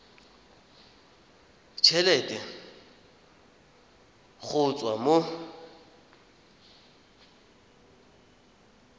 t helete go tswa mo